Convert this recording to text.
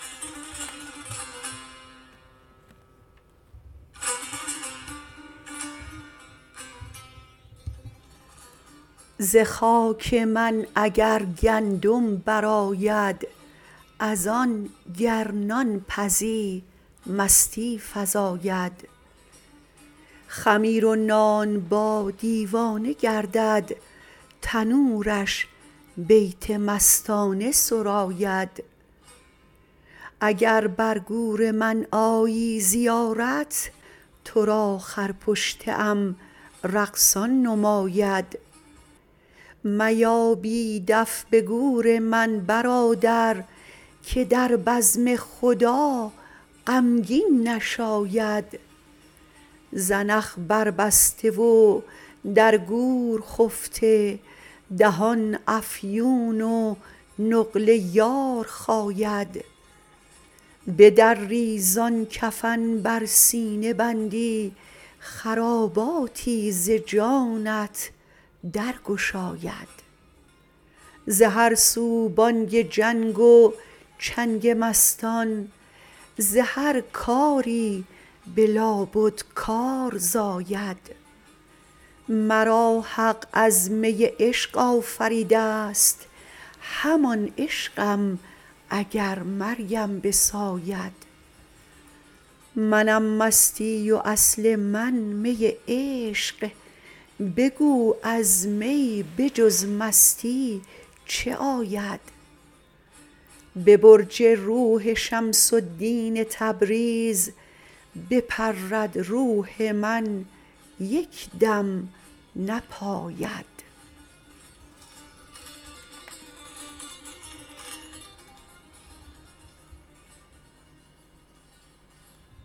ز خاک من اگر گندم برآید از آن گر نان پزی مستی فزاید خمیر و نانبا دیوانه گردد تنورش بیت مستانه سراید اگر بر گور من آیی زیارت تو را خرپشته ام رقصان نماید میا بی دف به گور من برادر که در بزم خدا غمگین نشاید زنخ بربسته و در گور خفته دهان افیون و نقل یار خاید بدری زان کفن بر سینه بندی خراباتی ز جانت درگشاید ز هر سو بانگ جنگ و چنگ مستان ز هر کاری به لابد کار زاید مرا حق از می عشق آفریده ست همان عشقم اگر مرگم بساید منم مستی و اصل من می عشق بگو از می به جز مستی چه آید به برج روح شمس الدین تبریز بپرد روح من یک دم نپاید